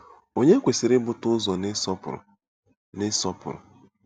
Ònye kwesịrị ibute ụzọ n'ịsọpụrụ? n'ịsọpụrụ?